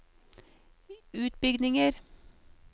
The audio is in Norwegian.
utbygginger